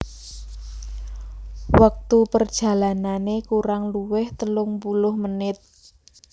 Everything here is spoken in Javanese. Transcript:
Wektu perjalanane kurang luwih telung puluh menit